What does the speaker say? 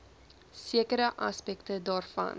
sekere aspekte daarvan